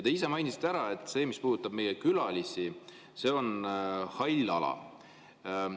Te ise mainisite ära, et see, mis puudutab meie külalisi, on hall ala.